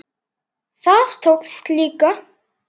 Það tókst líka.